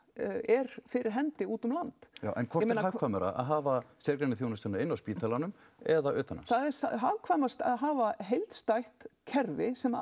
er fyrir hendi út um land en hvort er hagkvæmara að hafa sérgreinaþjónustuna inn á spítalanum eða utan hans það er hagkvæmast að hafa heildstætt kerfi sem